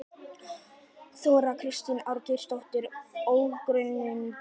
Þóra Kristín Ásgeirsdóttir: Ókunnugir?